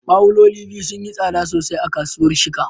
Bawuloli sun yi tsada sosai a kasuwar Shika